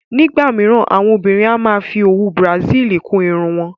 Nígbà míràn, àwọn obìnrin a máa ń fí owú Bràsílí kún ìrún wọn.